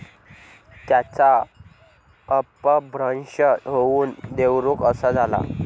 त्याचा अपभ्रंश होऊन देवरुख असा झाला.